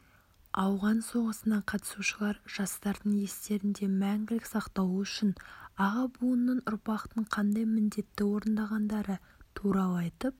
ауған соғысына қатысушылар жастардың естерінде мәңгілік сақталу үшін аға буынның ұрпақтың қандай міндетті орындағандары туралы айтып